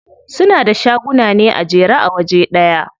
Suna da shaguna ne a jere a waje ɗaya.